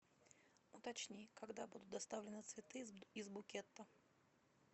уточни когда будут доставлены цветы из букета